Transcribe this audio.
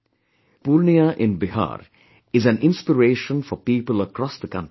The region of Purnia in Bihar is an inspiration for people across the country